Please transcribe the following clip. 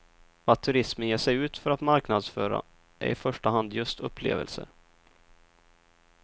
Vad turismen ger sig ut för att marknadsföra är i första hand just upplevelser.